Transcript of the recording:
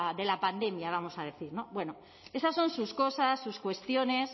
de la pandemia vamos a decir bueno esas son sus cosas sus cuestiones